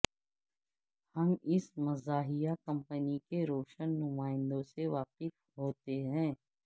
ہم اس مزاحیہ کمپنی کے روشن نمائندوں سے واقف ہوتے ہیں